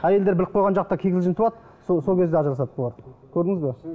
әйелдер біліп қойған жақта кикілжін туады сол кезде ажырасады бұлар көрдіңіз бе